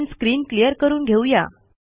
आपण screen clear करून घेऊ या